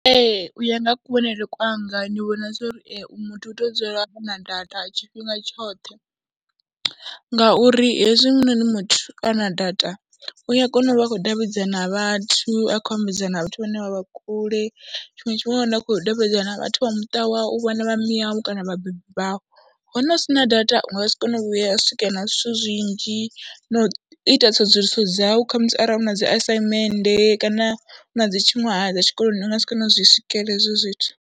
Ee, u ya nga kuvhonele kwanga ndi vhona zwo ri muthu u tea u dzula a na data tshifhinga tshoṱhe ngauri hezwinoni muthu a na data u ya kona u vha a khou davhidzana vhathu, a kho ambedzana vhathu vhane vha vha kule. Tshiṅwe tshifhinga u ya wana a khou davhidzana na vhathu vha muṱa wawe, vhana vha miau kana vhabebi vhau. Hone u si na data u nga si kone u vhuya wa swika na zwithu zwinzhi na u ita tsedzuluso dzau kha musi arali u na dzi assignmende kana hu na dzi tshiṅwahaya dza tshikoloni u nga si kone u zwi swikelela hezwo zwithu.